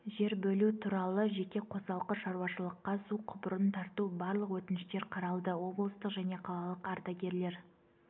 жер бөлу туралы жеке қосалқы шауашылыққа су құбырын тарту барлық өтініштер қаралды облыстық және қалалық ардагерлер